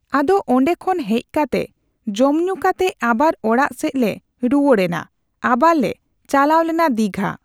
ᱟᱫᱚ ᱚᱸᱰᱮ ᱠᱷᱚᱱ ᱦᱮᱡ ᱠᱟᱛᱮ ᱡᱚᱢᱼᱧᱩ ᱠᱟᱛᱮ ᱟᱵᱟᱨ ᱚᱲᱟᱜ ᱥᱮᱡ ᱞᱮ ᱨᱩᱣᱟᱹᱲᱱᱟ᱾ ᱟᱵᱟᱨ ᱞᱮ ᱪᱟᱞᱟᱣ ᱞᱮᱱᱟ ᱫᱤᱜᱷᱟ᱾